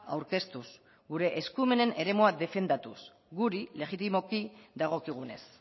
aurkeztuz gure eskumenen eremua defendatuz guri legitimoki dagokigunez